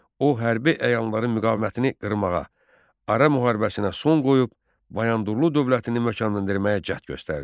O hərbi əyanların müqavimətini qırmağa, ara müharibəsinə son qoyub Bayandurlu dövlətini möhkəmləndirməyə cəhd göstərdi.